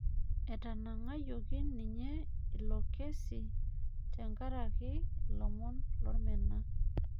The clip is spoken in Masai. Etanang'ayioki ninye ilo kesi tenkaraki ilomon lormena